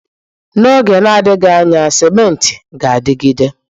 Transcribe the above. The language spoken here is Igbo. N'oge na-adịghị anya, cimenti ga-adịgide.